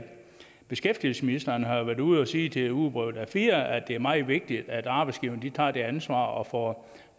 beskæftigelsesministeren har været ude og sige til ugebrevet a4 at det er meget vigtigt at arbejdsgiverne tager det ansvar og får